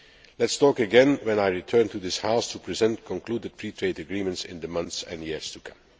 Let us talk again when I return to this House to present concluded free trade agreements in the months and years to come.